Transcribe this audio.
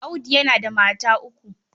Audi yana da mata uku.